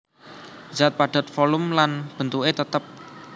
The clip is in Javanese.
Zat Padat volum lan bentuké tetep